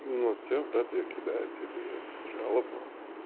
ну все брат я кидаю тебе этот жалобу